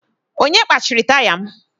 Onye gbachiri taya m?